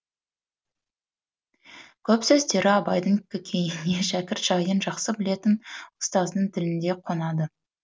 көп сөздері абайдың көкейіне шәкірт жайын жақсы білетін ұстаздың тіліндей қонады